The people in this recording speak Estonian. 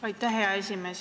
Aitäh, hea esimees!